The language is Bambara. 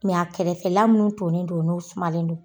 a kɛrɛfɛla munnu tonnen don n'u sumalen don